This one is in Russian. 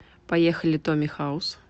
поехали томми хаус